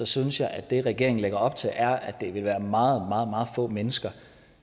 synes jeg at det regeringen lægger op til er at det vil være meget meget få mennesker